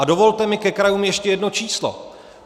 A dovolte mi ke krajům ještě jedno číslo.